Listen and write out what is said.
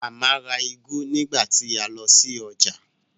Màmá ra úgú nígbà tí a lọ sí ọjà